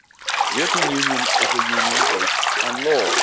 The European Union is a union based on law.